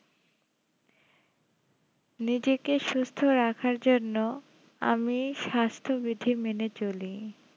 নিজেকে সুস্থ রাখার জন্য আমি স্বাস্থ্যবিধি মেনে চলি